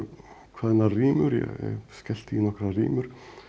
kveðnar rímur ég skellti í nokkrar rímur